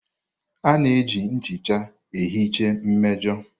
A na-eji nchicha ihicha mmejọ.